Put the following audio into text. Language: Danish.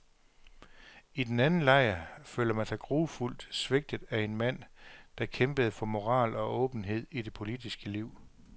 I den anden lejr føler man sig grufuldt svigtet af en mand, der kæmpede for moral og åbenhed i det politiske liv.